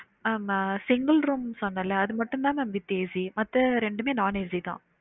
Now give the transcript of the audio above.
ஆமா single room சொன்னேல அது மட்டும் தான் மா with AC மத்த ரெண்டுமே non AC தான்